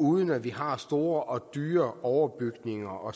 uden at vi har store og dyre overbygninger og